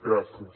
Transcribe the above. gràcies